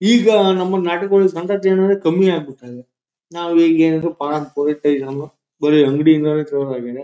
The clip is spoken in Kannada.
ಈಗ ನಮ್ಮಲ್ ನಾಟಿ ಕೋಳಿ ಸಂತತಿ ಅನ್ನದೇನೆ ಕಮ್ಮಿ ಆಗಿಬಿಟ್ಟಿದೆ ನಾವಿಗ್ ಏನಂದ್ರು ಫಾರಂ ಕೋಳಿ ಟೈಸನ್ನು ಬರಿ ಅಂಗ್ಡಿ ಇಂದಾನೆ ತರೋದಾಗಿದೆ .